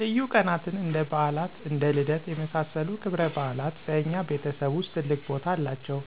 ልዩ ቀናትን እንደ በዓላት እና ልደት የመሳሰሉት ክብረበዓላት በእኛ ቤተሰብ ውስጥ ትልቅ ቦታ አላቸው።